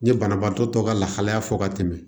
N ye banabaatɔ tɔ ka lahalaya fɔ ka tɛmɛ